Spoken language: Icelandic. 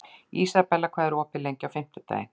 Ísabella, hvað er opið lengi á fimmtudaginn?